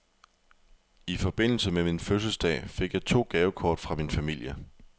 I forbindelse med min fødselsdag fik jeg to gavekort fra min familie.